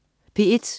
P1: